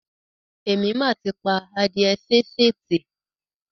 Èmi mà ti pa adíẹ sínsìn tì.